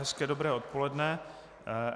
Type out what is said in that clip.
Hezké dobré odpoledne.